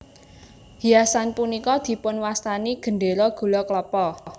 Hiasan punika dipun wastani Gendera Gula Klapa